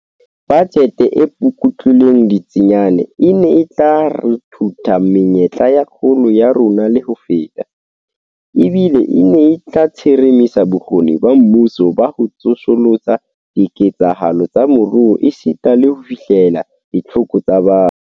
Bajete e pukutlilweng ditsiane e ne e tla ruthutha menyetla ya kgolo ya rona le ho feta, ebile e ne e tla tsheremisa bokgoni ba mmuso ba ho tsosolosa diketsahalo tsa moruo esita le ho fihlella ditlhoko tsa batho.